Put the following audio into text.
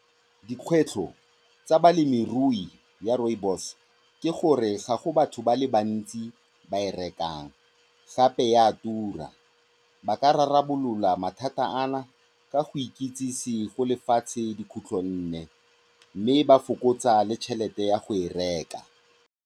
Dikgwetlho tsa balemirui ba rooibos ke gore ga go batho ba le bantsi ba e rekang, gape e a tura. Ba ka rarabolola mathata ana ka go ikitsise go lefatshe dikhutlonne mme ba fokotsa le tšhelete ya go e reka.